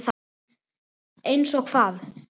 Einsog hvað?